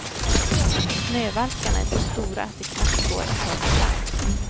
Snövalkarna är så stora att det knappt går att ta sig fram.